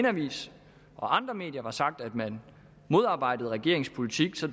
avis og andre medier har sagt at man modarbejdede regeringens politik så